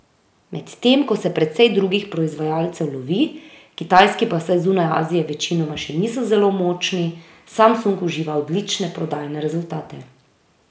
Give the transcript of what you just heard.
Medtem ko se precej drugih proizvajalcev lovi, kitajski pa vsaj zunaj Azije večinoma še niso zelo močni, Samsung uživa odlične prodajne rezultate.